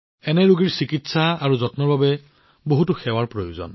এনে ৰোগীৰ চিকিৎসা আৰু যত্নৰ বাবে যথেষ্ট সেৱাৰ প্ৰয়োজন